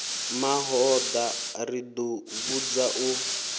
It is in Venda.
mahoḽa ro ḓi vhudza u